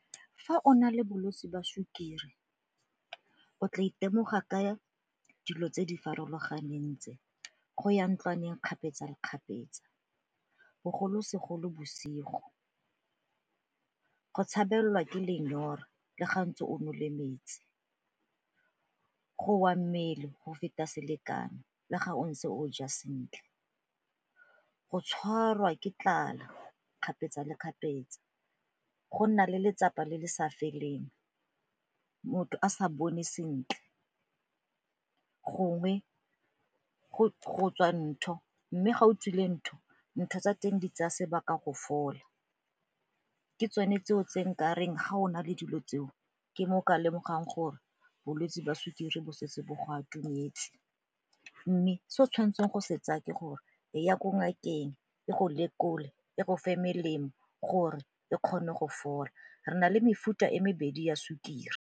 Fa o na le bolwetsi ba sukiri o tla itemoga ka dilo tse di farologaneng tse go ya ntlwaneng kgapetsa le kgapetsa bogolosegolo bosigo, go tshabela ke lenyora le ga ntse o nole metsi, go wa mmele go feta selekano le ga o ntse o ja sentle, go tshwarwa ke tlala kgapetsa le kgapetsa, go nna le letsapa le le sa feleng, motho a sa bone sentle gongwe go tswa ntho mme ga o tswile ntho ntho tsa teng di tsaya sebaka go fola ke tsone tseo tse nka reng ga ona le dilo tseo ke mo o ka lemogang gore bolwetsi jwa sukiri bo setse bo go atumetse. Mme se o tshwanetseng go se tsaya ke gore eya ko ngakeng, e go lekole, e go fa melemo gore e kgone go fola, re na le mefuta e mebedi ya sukiri.